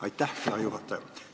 Aitäh, hea juhataja!